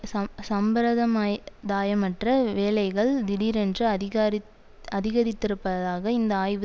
சம்சம்பிரதமாயதாயமற்ற வேலைகள் திடீரென்று அதிகாரித்அதிகரித்திருப்பதாக இந்த ஆய்வு